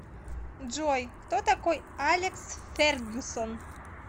джой кто такой алекс фергюсон